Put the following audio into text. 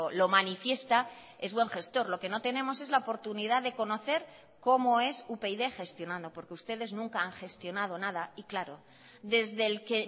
lo manifiesta es buen gestor lo que no tenemos es la oportunidad de conocer cómo es upyd gestionando porque ustedes nunca han gestionado nada y claro desde el que